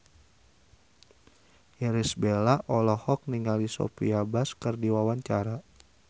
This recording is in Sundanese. Irish Bella olohok ningali Sophia Bush keur diwawancara